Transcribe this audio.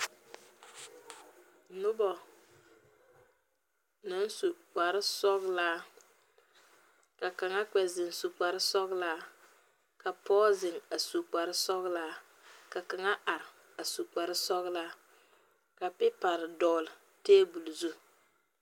Nobo na su kpar sɔglaa, ka kanga kpe zeŋ su kpar sɔglaa, ka poge zeŋ a su kpar sɔglaa, ka kanga are a su kpar sɔglaa, ka pipare dogle tabul zu